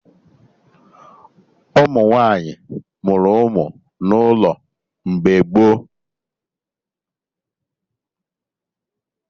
Ụmụ nwaanyị mụrụ ụmụ n'ụlọ mgbe gboo